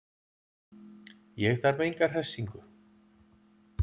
Ég þarf enga hressingu.